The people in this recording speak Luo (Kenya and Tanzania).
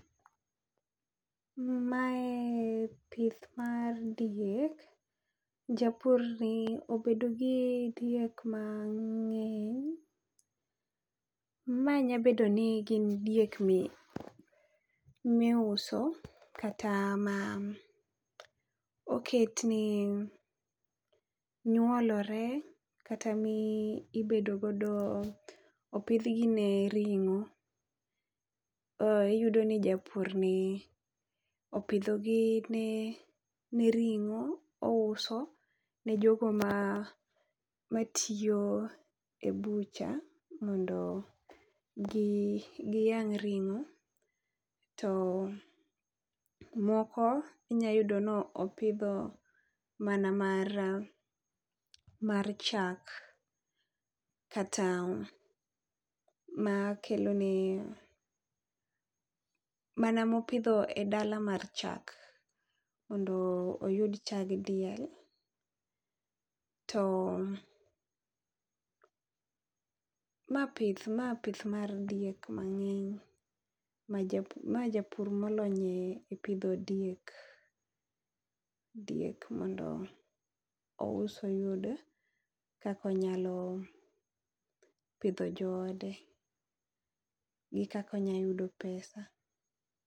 Mae pith mar diek, japur ni obedo gi diek ma ng'eny. Ma nyabedo ni gin diek miuso, kata ma oket ni nyuolore kata mi ibedo godo opidhgi ne ring'o. Iyudo ni japur ni opidho gi ne ring'o ouso ne jogo ma tiyo e bucha mondo gi, giyang' ring'o. To moko inya yudo no opidho mana mar chak, kata ma kelo ne mana mopidho e dala mar chak mondo oyud chag diel. To ma pith, ma pith mar diek mang'eny. Ma japur, ma japur molony e pidho diek, diek mondo ous oyud kakonyalo pidho joode gi kakonyayudo pesa.